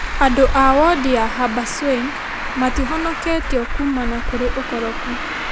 Andũ a wondi ya Habaswein matihonokĩtio kuumana kũrĩ ũkoroku ,